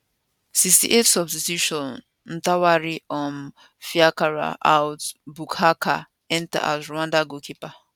68 substitution ntwari um fiacre out buhake enta as rwanda goalkeeper